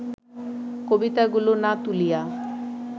কবিতাগুলি না তুলিয়া